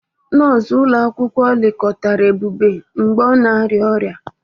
Nọọsụ ụlọ akwụkwọ lekọtara Ebube mgbe ọ na-arịa ọrịa.